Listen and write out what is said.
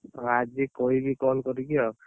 'ଓହୋ!'' ଆଜି କହିବି call କରିକି ଆଉ।